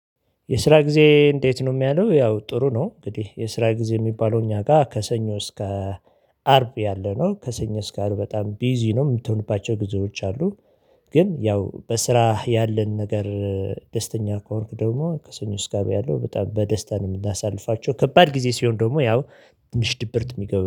የስራ ጊዜ እንዴት? ነው የሚያለው ያው ጥሩ ነው እንግዲህ የስራ ጊዜ የሚባለው እኛ ጋር ከሰኞ እስከ አርብ ያለነው ከሰኞ ስካር በጣም ቢዚ ነው የምትሆንባቸው ጊዜዎች አሉ። ግን ያው በስራ ያለን ነገር ደስተኛ ከሆንክ ደግሞ ከሰኞ እስከ አርብ ያለው በጣም በደስታ ነው የምናሳልፋቸው ከባድ ጊዜ ሲሆን ደግሞ ያው ትሽት ድብርት የሚገባው